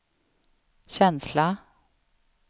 känsla